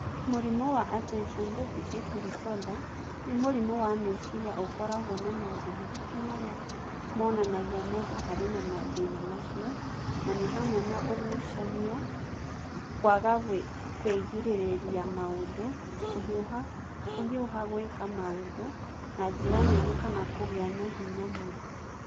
Mũrimũ wa Attention Deficit Disorder "nĩ mũrimũ wa meciria ũkoragwo na maũndũ matatũ marĩa monanagia mũndũ arĩ na mathĩna macio, na nĩ hamwe na ũgucania, kwaga kwĩgirĩrĩria maũndũ, kũhiũha kũhiũha gwĩka maũndũ na njĩra nene kana kũgĩa na hinya mũingĩ"